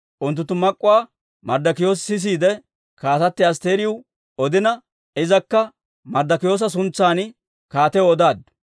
Unttunttu mak'k'uwaa Marddokiyoosi sisiide, Kaatatti Asttiriw odina, izakka Marddikiyoosa suntsan kaatiyaw odaaddu.